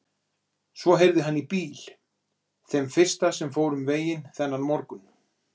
Svo heyrði hann í bíl, þeim fyrsta sem fór um veginn þennan morgun.